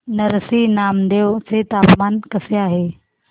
नरसी नामदेव चे तापमान कसे आहे